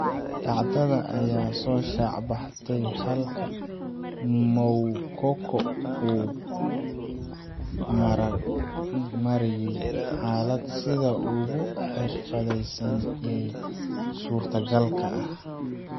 Dhacdada ayaa soo shaacbaxday, halka Moukoko uu u maareeyay xaaladda sida ugu xirfadaysan ee suurtogalka ah.